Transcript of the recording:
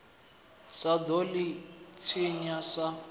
sa ḓo ḽi tshinya sa